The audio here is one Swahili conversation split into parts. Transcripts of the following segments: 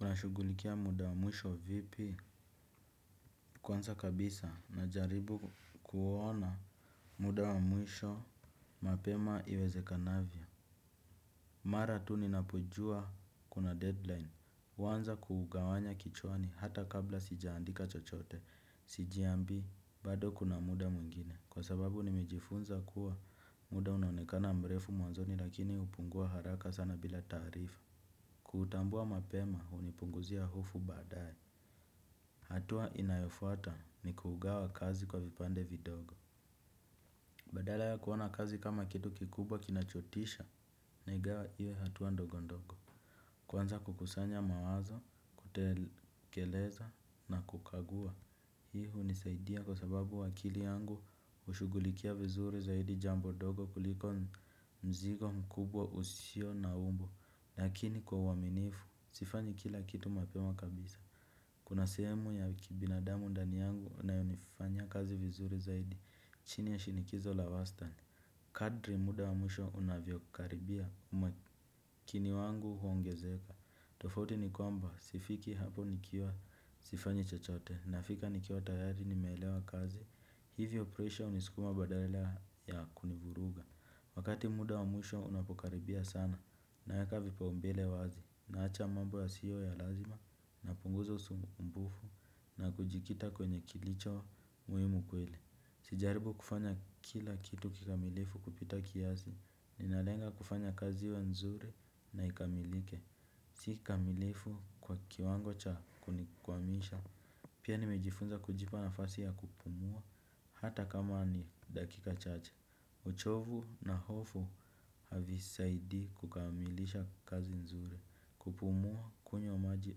Unashughulikia muda wa mwisho vipi kwanza kabisa najaribu kuona muda wa mwisho mapema iwezekanavyo. Mara tu ninapojua kuna deadline. Huanza kuugawanya kichwani hata kabla sijaandika chochote, sijiambii, bado kuna muda mwingine. Kwa sababu nimejifunza kuwa muda unaonekana mrefu mwanzoni lakini upungua haraka sana bila taarifa. Kutambua mapema hunipunguzia hofu baadae. Hatua inayofuata ni kugawa kazi kwa vipande vidogo. Badala ya kuona kazi kama kitu kikubwa kinachotisha naigawa iwe hatua ndogo ndogo. Kwanza kukusanya mawazo, kutekeleza na kukagua. Hii hunisaidia kwa sababu akili yangu hushughulikia vizuri zaidi jambo dogo kuliko mzigo mkubwa usio na umbo. Lakini kwa uaminifu, sifanyi kila kitu mapema kabisa. Kuna sehemu ya kibinadamu ndani yangu inayonifanya kazi vizuri zaidi chini ya shinikizo la wastani. Kadri muda wa mwisho unavyokaribia umakini wangu huongezeka tofauti ni kwamba sifikii hapo nikiwa sifanyi chochote nafika nikiwa tayari nimeelewa kazi. Hivyo presha hunisikuma badala ya kunivuruga. Wakati muda wa mwisho unapokaribia sana naweka vipaumbele wazi naacha mambo yasiyo ya lazima napunguza usumbufu na kujikita kwenye kilicho muhimu kweli. Sijaribu kufanya kila kitu kikamilifu kupita kiasi. Ninalenga kufanya kazi wa nzuri na ikamilike. Sikamilifu kwa kiwango cha kunikwamisha. Pia nimejifunza kujipa nafasi ya kupumua. Hata kama ni dakika chache. Uchovu na hofu havisaidii kukamilisha kazi nzuri. Kupumua kunywa maji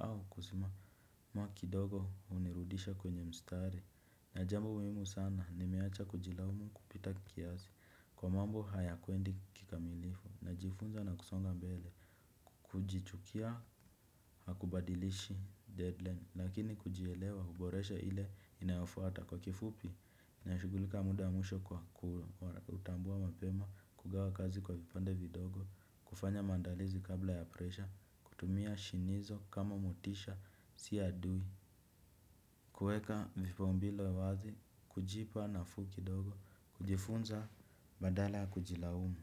au kusimama kidogo hunirudisha kwenye mstari. Na jambo muhimu sana nimeacha kujilaumu kupita kiasi. Kwa mambo hayaendi kikamilifu. Najifunza na kusonga mbele. Kujichukia hakubadilishi deadline. Lakini kujielewa huboresha ile inayofuata kwa kifupi. Nashughulika muda mwisho kwa kutambua mapema. Kugawa kazi kwa vipande vidogo kufanya mandalizi kabla ya presha kutumia shinikizo kama motisha si adui. Kuweka vipaumbele wazi kujipa nafuu kidogo kujifunza badala kujilaumu.